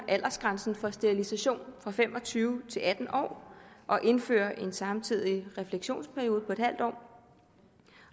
aldersgrænsen for sterilisation fra fem og tyve til atten år og indfører en samtidig refleksionsperiode på en halv år